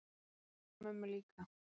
Og auðvitað mömmu líka.